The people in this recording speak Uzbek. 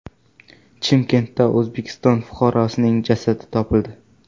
Chimkentda O‘zbekiston fuqarosining jasadi topildi.